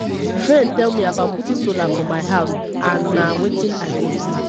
my friend tell me about putting solar for my house and na wetin i go do